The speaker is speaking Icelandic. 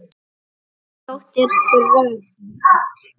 Þín dóttir Dröfn.